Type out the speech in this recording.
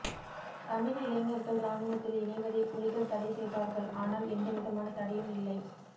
தமிழ் இளைஞர்கள் இராணுவத்தில் இணைவதை புலிகள் தடை செய்தார்கள் ஆனால் எந்த விதமான தடையும் இல்லை